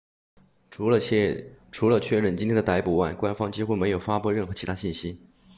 除了确认今天的逮捕外官方几乎没有发布任何其他信息